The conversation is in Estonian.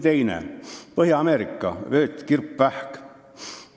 Teiseks, Põhja-Ameerika vöötkirpvähk.